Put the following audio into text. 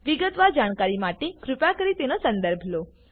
વિગતવાર જાણકારી માટે કૃપા કરી તેનો સંદર્ભ લો